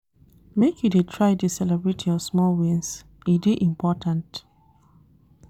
Make you dey try dey celebrate your small wins, e dey important.